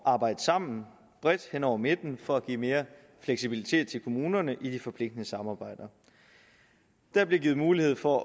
at arbejde sammen bredt hen over midten og for at give mere fleksibilitet til kommunerne i de forpligtende samarbejder der bliver givet mulighed for